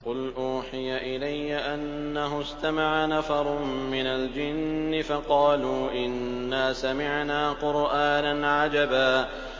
قُلْ أُوحِيَ إِلَيَّ أَنَّهُ اسْتَمَعَ نَفَرٌ مِّنَ الْجِنِّ فَقَالُوا إِنَّا سَمِعْنَا قُرْآنًا عَجَبًا